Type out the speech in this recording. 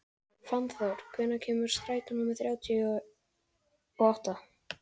Fannþór, hvenær kemur strætó númer þrjátíu og átta?